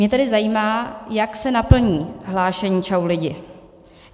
Mě tedy zajímá, jak se naplní hlášení Čau lidi.